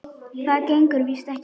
Það gengur víst ekki.